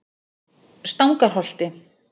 Stangarholti